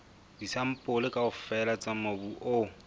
disampole kaofela tsa mobu o